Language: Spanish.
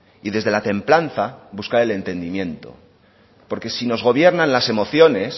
y desde la templanza buscar el entendimiento porque si nos gobiernan las emociones